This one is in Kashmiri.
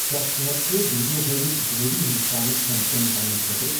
کیا ژٕ ہیکِہ کھہ ویڈیو ہٲوِتھ جنوبی ہندوستانُک کھین چین رننہٕ خٲطرٕ ۔